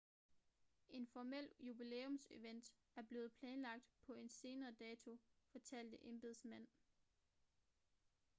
en formel jubilæumsevent er blevet planlagt på en senere dato fortalte embedsmænd